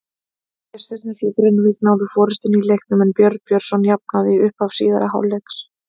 Gestirnir frá Grenivík náðu forystunni í leiknum en Björn Björnsson jafnaði í upphafi síðari hálfleiks.